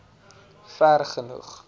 vergenoeg